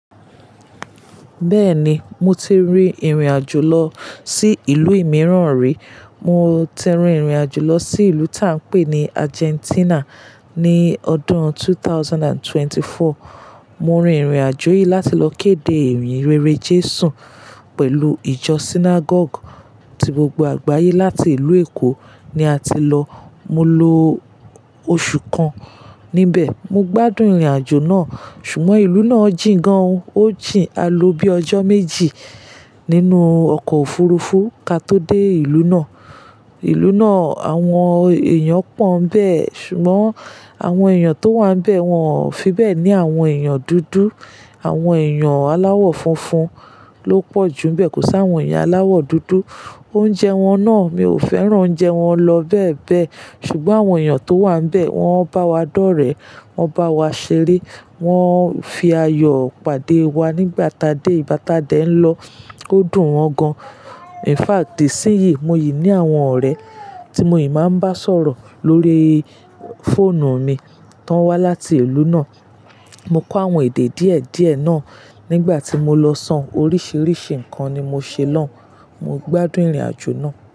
Bẹ́ẹ̀ni, mo ti rí ìrìnàjò lọ sí ìlú mìíràn rí. Mo ti rin ìrìnàjò lọ sí ìlú tí à ń pè ní Argentina ní ọdún ẹgbẹ̀rún méjì ó lé ẹ́rinlélógún. Mo rin ìrìnàjò yìí láti lọ kéde ìyin rere Jésù pẹ̀lú ìjọ synagogue tí gbogbo àgbáyé láti ìlú Èkó ni a ti lọ. Mo ló oṣù kan níbẹ̀. Mo gbádùn ìrìnàjò náà. Ṣùgbọ́n ìlú náà jìn gan, ó jìn. A lo bí ọjọ́ méjì nínú ọkọ̀ òfurufú ka tó dé ìlú náà. Ìlú náà, àwọn èèyàn pọ́n bẹ́ẹ̀. Ṣùgbọ́n àwọn èèyàn tó wà níbẹ̀, wọ́n ò fi bẹ́ẹ̀ ní àwọn èèyàn dúdú. Àwọn èèyàn aláwọ̀ funfun ló pọ̀ jù níbẹ̀, kò sá àwọn èèyàn aláwọ̀ dúdú. Oúnjẹ wọn náà, mi ò fẹ́ràn oúnjẹ wọn lọ bẹ́ẹ̀ bẹ́ẹ̀. Ṣùgbọ́n àwọn èèyàn tó wà níbẹ̀, wọ́n bá wa dọ́rẹ̀ẹ́, wọ́n bá wa ṣeré, wọ́n fi ayọ̀ pàdé wa nígbà tá a dé. Ígbà tá a dé ń lọ, ó dùn wọn gan. In fact, de sí yí, mo yí ní àwọn ọ̀rẹ́ tí mo yí máa ń bá sọ̀rọ̀ lórí fóònù mi tó wá láti ìlú náà. Mo kó àwọn èdè díẹ̀ díẹ̀ náà nígbà tí mo lọ, ṣán oríṣiríṣi nǹkan ni mo ṣe lọ́ún. Mo gbádùn ìrìnàjò náà.